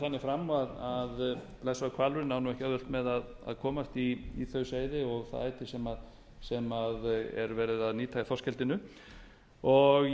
fer þannig fram að blessaður hvalurinn á ekki auðvelt með að komast í þau seyði og það æti sem verið er að nýta í þorskeldinu